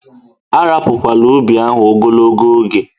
A rapukwana ubi ahụ ogologo oge!